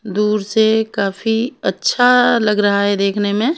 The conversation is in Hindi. दूर से काफी अच्छा लग रहा है देखने में।